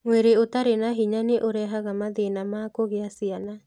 Mwĩrĩ ũtarĩ na hinya nĩ ũrehaga mathĩna ma kũgĩa ciana.